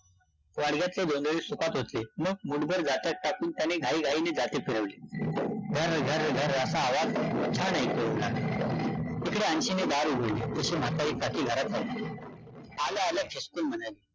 वाडग्यातले जोंधळी सुपात ओतले मग मुठभर जात्यात टाकून त्यानी घाईघाईने जाते फिरवले, घरं - घरं - घरं असा आवाज छान ऐकू येवू लागला, तिकडे अन्शीने दार उघडले, तशी म्हातारी घरात , आल्या- आल्या खेकसून म्हणाली